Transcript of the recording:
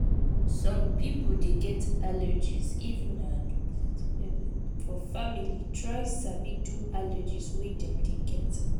some pipo dey get allergies if na for family try sabi do allergies wey dem dey get